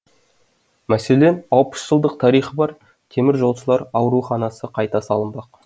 мәселен алпыс жылдық тарихы бар темір жолшылар ауруханасы қайта салынбақ